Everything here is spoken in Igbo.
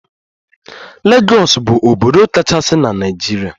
Legọs bu obodo kachasi na Naijiria.